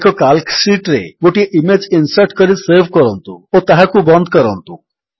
ଏକ calc sheet ରେ ଗୋଟିଏ ଇମେଜ୍ ଇନ୍ସର୍ଟ କରି ସେଭ୍ କରନ୍ତୁ ଓ ତାହାକୁ ବନ୍ଦ କରନ୍ତୁ